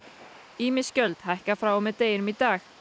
ýmis gjöld hækka frá og með deginum í dag